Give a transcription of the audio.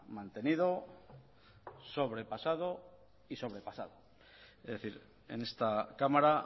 mantenido sobrepasado y sobrepasado es decir en esta cámara